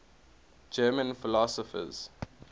german philosophers